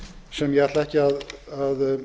sem ég ætla ekki að